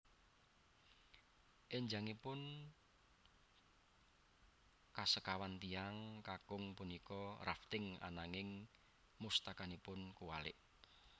Enjangipun kasekawan tiyang kakung punika rafting ananging mustakanipun kuwalik